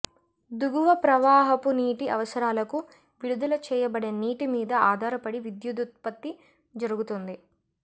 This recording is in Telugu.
దుగువ ప్రవాహపు నీటి అవసరాలకు విడుదల చేయబడే నీటి మీద అధారపడి విద్యుదుత్పత్తి జరుగుతుంది